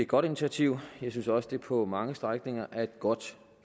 godt initiativ jeg synes også det på mange strækninger er et godt